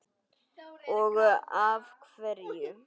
Og af hverju.